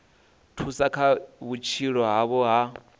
thusa kha vhutshilo havho ha